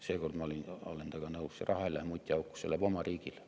Seekord ma olen temaga nõus: see raha ei lähe mutiauku, see läheb oma riigile.